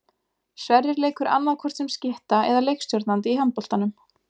Sverrir leikur annaðhvort sem skytta eða leikstjórnandi í handboltanum.